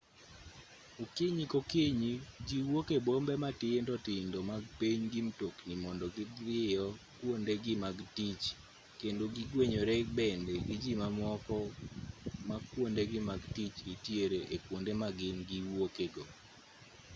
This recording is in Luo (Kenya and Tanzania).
okinyi kokinyi ji wuok e bombe matindo tindo mag piny gi mtokni mondo gidhiyo kwondegi mag tich kendo gigwenyore bende gi ji mamoko ma kwondegi mag tich nitiere e kwonde ma gin giwuoke go